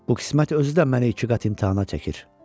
Bu qismət özü də məni ikiqat imtahana çəkir.